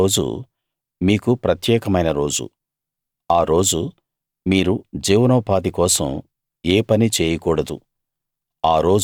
ఎనిమిదో రోజు మీకు ప్రత్యేకమైన రోజు ఆ రోజు మీరు జీవనోపాధి కోసం ఏ పనీ చేయకూడదు